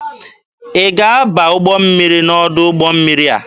Ị ga-aba ụgbọ mmiri n'ọdụ ụgbọ mmiri a!